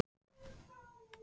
Fer orð og flýgur.